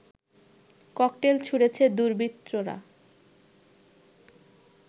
cocktail ছুঁড়েছে দুর্বৃত্তরা